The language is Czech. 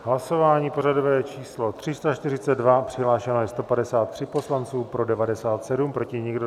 Hlasování pořadové číslo 342, přihlášeno je 153 poslanců, pro 97, proti nikdo.